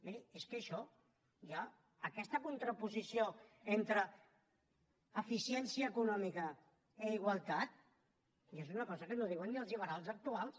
miri és que això ja aquesta contraposició entre eficiència econòmica i igualtat ja és una cosa que no diuen ni els liberals actuals